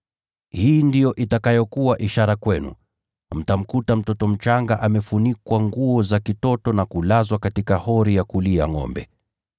Hii ndiyo itakayokuwa ishara kwenu: Mtamkuta mtoto mchanga amefunikwa nguo za kitoto na kulazwa katika hori ya kulia ngʼombe.”